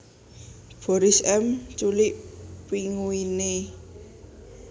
Boris M Culik Pinguine